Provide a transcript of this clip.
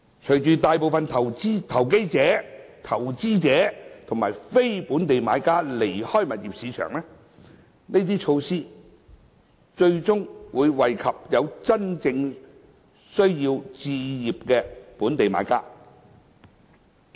隨着大部分投機者、投資者和非本地買家離開物業市場，這些措施最終會惠及有真正置業需要的本地買家。